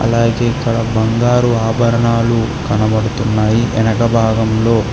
అలాగే ఇక్కడ బంగారు ఆభరణాలు కనబడుతున్నాయి ఎనకభాగంలో.